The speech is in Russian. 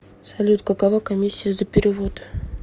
салют какова комиссия за перевод